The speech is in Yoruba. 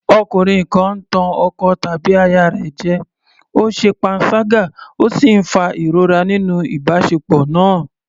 Ọkùnrin kan ń tàn ọkọ tàbí aya rẹ̀ jẹ, ó ṣe panṣágà ó sì ń fa ìrora nínú ìbáṣepọ̀ náà.